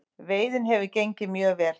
Veiðin hefur gengið mjög vel